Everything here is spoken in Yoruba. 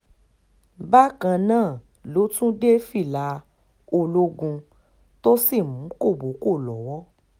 bákan náà ló tún dé fìlà ológun tó sì mú kọ́bọ̀ọ́kọ́ lọ́wọ́